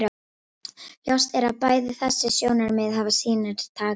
Ljóst er að bæði þessi sjónarmið hafa sínar takmarkanir.